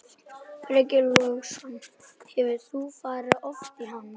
Breki Logason: Hefur þú farið oft í hann?